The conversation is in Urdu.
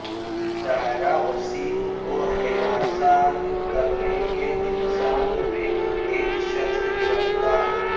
زائرہ وسیم کو ہراساں کرنے کے الزام میں ایک شخص گرفتار